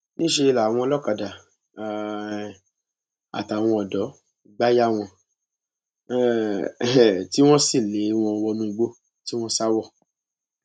níṣẹ làwọn olókàdá um àtàwọn ọdọ gbà yà wọn um tí wọn sì lé wọn wọnú igbó tí wọn sá wọ